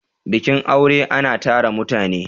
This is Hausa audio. bikin aure ana tara mutane